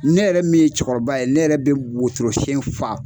Ne yɛrɛ min ye cɛkɔrɔba ye ne yɛrɛ bɛ botorosen fa